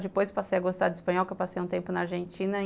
Depois, passei a gostar do espanhol, porque eu passei um tempo na Argentina.